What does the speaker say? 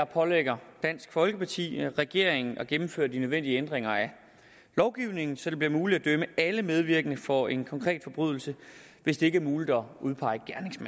pålægger dansk folkeparti regeringen at gennemføre de nødvendige ændringer af lovgivningen så det bliver muligt at dømme alle medvirkende for en konkret forbrydelse hvis det ikke er muligt at udpege